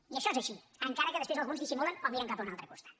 i això és així encara que després alguns dissimulen o miren cap a un altre costat